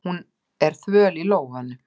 Hún er þvöl í lófunum.